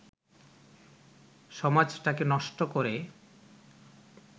সমাজটাকে নষ্ট করে